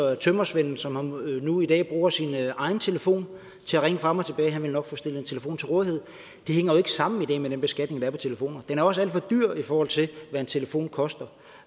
at tømrersvenden som nu i dag bruger sin egen telefon til at ringe frem og tilbage nok vil få stillet en telefon til rådighed det hænger jo ikke sammen i dag med den beskatning der er på telefoner den er også alt for dyr i forhold til hvad en telefon koster